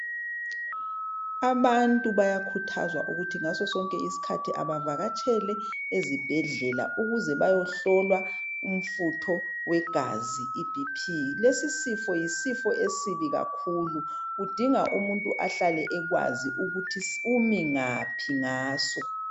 Abantu bayakhuthazwa ukuthi ngasosonke isikhathi bavakatshele esibhedlela ukuze bayehlolwa umfutho wegazi iBP, lesi sifo yisifo esibi kakhulu kudinga umuntu ahlale ekwazi ukuthi umi ngaphi ngaso